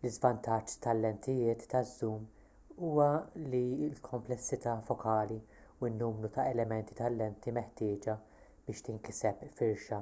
l-iżvantaġġ tal-lentijiet taż-żum huwa li l-kumplessità fokali u n-numru ta' elementi tal-lenti meħtieġa biex tinkiseb firxa